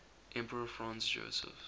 emperor franz joseph